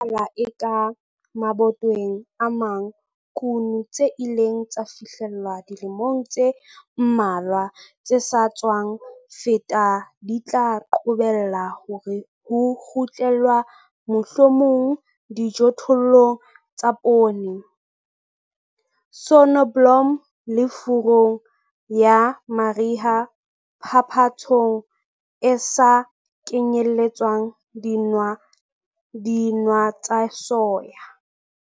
Le ha ho le jwalo, ho bonahala eka mabatoweng a mang kuno tse ileng tsa fihlellwa dilemong tse mmalwa tse sa tswa feta di tla qobella hore ho kgutlelwa mohlomong dijothollong tsa poone, soneblomo le furung ya mariha phapantshong e sa kenyelletsang dinawa tsa soya.